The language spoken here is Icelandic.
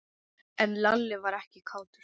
En Lalli var ekkert kátur.